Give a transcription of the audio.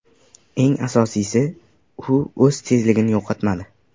Eng asosiysi, u o‘z tezligini yo‘qotmadi.